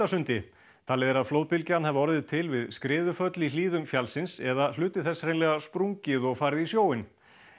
Sundasundi talið er að flóðbylgjan hafi orðið til við skriðuföll í hlíðum fjallsins eða hluti þess hreinlega sprungið og farið í sjóinn